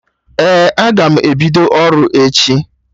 Ee, aga m ebido ọrụ echi